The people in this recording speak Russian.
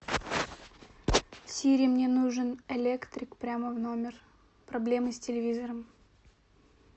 сири мне нужен электрик прямо в номер проблемы с телевизором